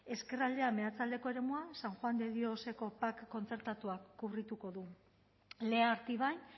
ezkerraldea meatzaldeko eremua san juan de dioseko pac kontzertatuak kubrituko du lea artibai